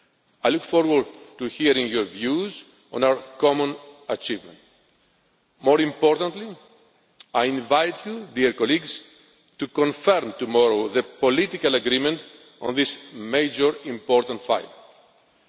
I look forward to hearing your views on our common achievement. More importantly, I invite you, dear colleagues, to confirm tomorrow the political agreement on this major measure.